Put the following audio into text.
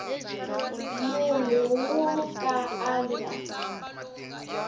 munhu wo ka a nga